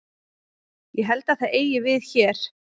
Ég held að það eigi við hér.